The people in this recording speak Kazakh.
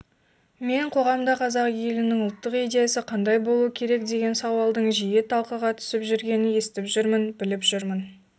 мен қоғамда қазақ елінің ұлттық идеясы қандай болуы керекдеген сауалдың жиі талқыға түсіп жүргенін естіп жүрмін біліп жүрмін